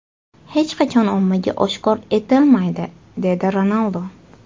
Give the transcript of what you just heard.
Hech qachon ommaga oshkor etilmaydi” dedi Ronaldu.